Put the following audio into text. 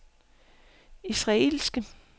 israelske